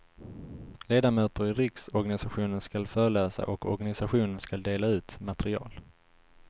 Ledamöter i riksorganisationen skall föreläsa och organisationen skall dela ut material.